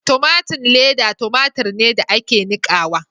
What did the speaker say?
Tomatun leda tomatur ne da ake nikawa.